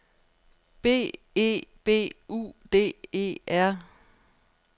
B E B U D E R